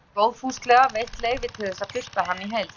Hrefna hefur góðfúslega veitt leyfi til þess að birta hana í heild